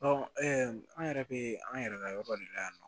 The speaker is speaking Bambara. an yɛrɛ bɛ an yɛrɛ ka yɔrɔ de la yan nɔ